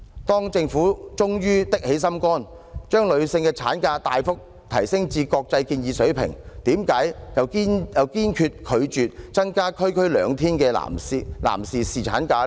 當政府終於下定決心，將女性產假大幅提升至國際建議水平，為何又堅決拒絕增加區區兩天的男士侍產假呢？